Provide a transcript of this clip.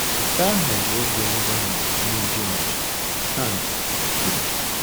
Nke ahụ bụ oge mgbanwe nye George, " Hans kwuru.